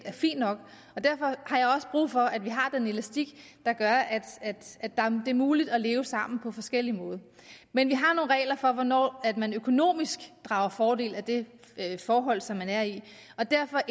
er fint nok derfor har jeg også brug for at vi har den elastik der gør at det er muligt at leve sammen på forskellige måder men vi har nogle regler for hvornår man økonomisk drager fordel af det forhold som man er i og derfor